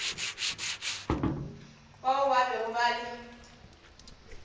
bao ba bego ba le